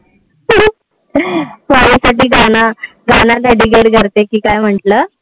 माझ्यासाठी गाण गाण sacrifice करते कि काय म्हटल.